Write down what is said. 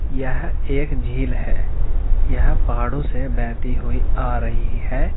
यह एक झील है यह पहाड़ों से बहती हुई आ रही है।